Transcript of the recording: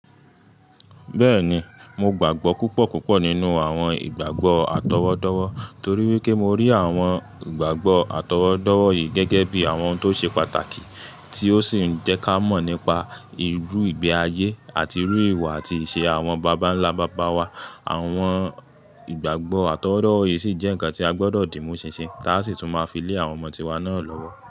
Bẹ́ẹ̀ni, mo gbàgbọ́ púpọ̀ púpọ̀ nínú àwọn ìgbàgbọ́ àtọwọ́dọ́wọ́ torí wípé mo rí àwọn ìgbàgbọ́ àtọwọ́dọ́wọ́ yìí gẹ́gẹ́ bí àwọn tó ṣe pàtàkì tí ó sì ń jẹ́ ká mọ̀ nípa irú ìgbé ayé àti irú ìwà àti ìṣe àwọn bàbà ńlá bàbà wa. Àwọn ìgbàgbọ́ àtọwọ́dọ́wọ́ yìí sì jẹ́ ǹkan tí a gbọdọ̀ dì mú ṣinṣin táa sì tún máa fi lé àwọn ọmọ tíwa náà lọ́wọ́.